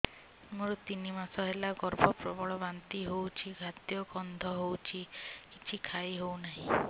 ମୋର ତିନି ମାସ ହେଲା ଗର୍ଭ ପ୍ରବଳ ବାନ୍ତି ହଉଚି ଖାଦ୍ୟ ଗନ୍ଧ ହଉଚି କିଛି ଖାଇ ହଉନାହିଁ